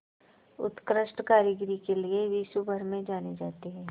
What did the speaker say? उत्कृष्ट कारीगरी के लिये विश्वभर में जाने जाते हैं